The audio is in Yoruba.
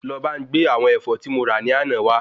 Lo bá n gbé àwọn Ẹ̀fọ́ ti mo ra ní àná wa